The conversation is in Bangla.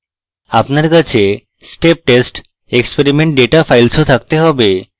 আপনার কাছে step test experiment data file ও থাকতে have